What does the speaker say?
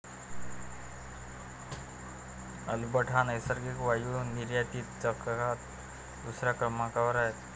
Alberta हा नैसर्गिक वायू निर्यातीत जगात दुसऱ्या क्रमांकावर आहे.